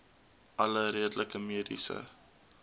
alle redelike mediese